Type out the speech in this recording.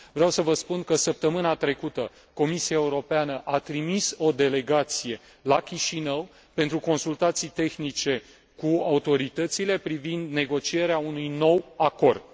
Vreau să vă spun că săptămâna trecută Comisia Europeană a trimis o delegație la Chișinău pentru consultații tehnice cu autoritățile privind negocierea unui nou acord.